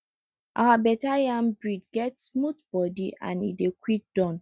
our better yam breed get smooth body and e dey quick Accepted